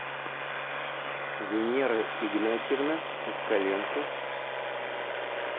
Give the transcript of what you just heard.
венера игнатьевна москаленко